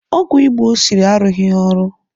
Ọgwụ Igbo o siri arụghị ọrụ